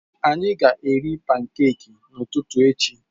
Anyị ga-eri pankeki n'ụtụtụ echi.